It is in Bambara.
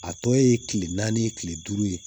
A tɔ ye kile naani kile duuru ye